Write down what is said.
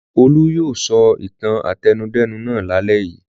Olú yóò sọ ìtàn àtẹnudẹ́nu náà lálẹ́ yìí!